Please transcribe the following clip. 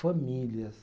Famílias.